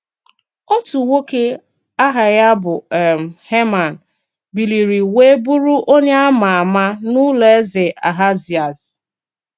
Òtù nwóké áhà ya bụ um Heman biliri wéè bụrụ onye a ma ama n’ụlọ eze Ahazịas.